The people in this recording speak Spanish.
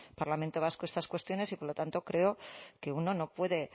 parlamento vasco estas cuestiones y por lo tanto creo que uno no puede